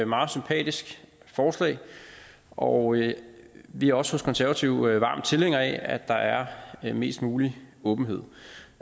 meget sympatisk forslag og vi er også hos konservative varme tilhængere af at der er mest mulig åbenhed